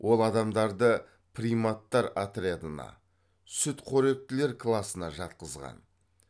ол адамдарды приматтар отрядына сүтқоректілер класына жатқызған